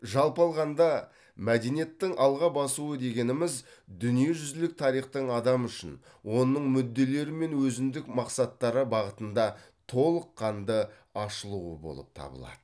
жалпы алғанда мәдениеттің алға басуы дегеніміз дүниежүзілік тарихтың адам үшін оның мүдделері мен өзіндік мақсаттары бағытында толыққанды ашылуы болып табылады